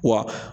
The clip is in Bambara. Wa